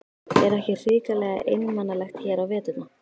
Er ekki hrikalega einmanalegt hér á veturna?